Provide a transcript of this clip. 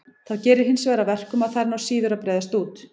Það gerir hinsvegar að verkum að þær ná síður að breiðast út.